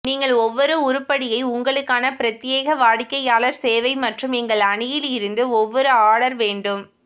நீங்கள் ஒவ்வொரு உருப்படியை உங்களுக்கான பிரத்யேக வாடிக்கையாளர் சேவை மற்றும் எங்கள் அணியில் இருந்து ஒவ்வொரு ஆர்டர் வேண்டும்